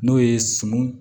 N'o ye sun